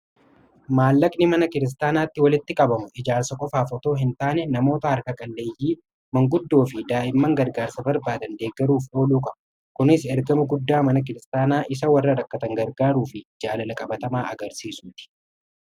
Maallaqni mana kiristaanaatti walitti qabamu ijaarsa qofaaf otoo hin taane namoota harka qalleeyyii manguddoo fi daa'imman gargaarsa barbaadan deeggaruuf ooluu kama kunis ergama guddaa mana kiristaanaa isa warra rakkatan gargaaruu fi jaalala qabatamaa agarsiisuti.